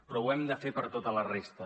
però ho hem de fer per tota la resta